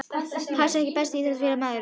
Pass EKKI besti íþróttafréttamaðurinn?